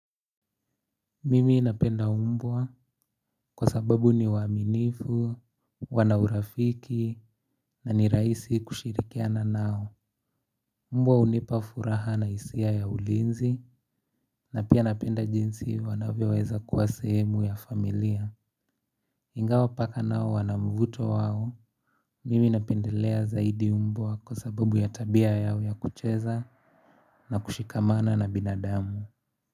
Mimi napenda umbwa kwa sababu ni waaminifu, wanaurafiki na ni raisi kushirikiana nao mbwa unipa furaha na isia ya ulinzi na pia napenda jinsi wanavyoweza kuwa sehemu ya familia ingawa paka nao wana mvuto wao mimi napendelea zaidi mbwa kwa sababu ya tabia yao ya kucheza na kushikamana na binadamu.